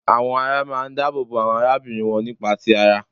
Àwọn ará máa ń dáàbò bo àwọn arábìnrin wọn nípa ti ara